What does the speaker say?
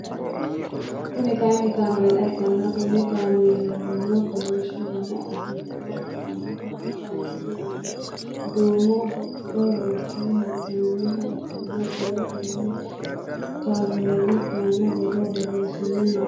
Kuni kaayiini kaameela ikkanna Kuni kaameelino kolishsho dana afirinoha ikkanna Konni kameeli aana duumo hocco worre heenooniha ikkana qole Koni kameeli aana borro boreesine henoonni